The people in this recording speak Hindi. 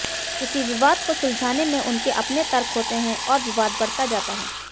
किसी विवाद को सुलझाने में उनके अपने तर्क होते हैं और विवाद बढ़ता जाता है